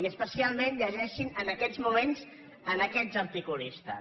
i especialment lle·geixin en aquests moments aquests articulistes